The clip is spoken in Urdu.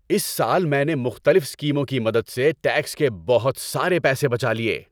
اس سال میں نے مختلف اسکیموں کی مدد سے ٹیکس کے بہت سارے پیسے بچا لیے۔